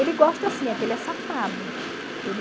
Ele gosta sim, é que ele é safado.